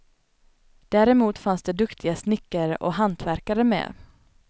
Däremot fanns det duktiga snickare och hantverkare med.